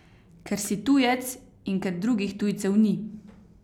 Ker si tujec in ker drugih tujcev ni.